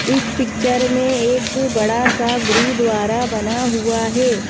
इस पिक्चर में एक बड़ा सा गुरु द्वारा बना हुआ है।